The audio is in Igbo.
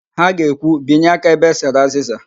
Ha ga-ekwu, binye aka ebe e sere azịza"!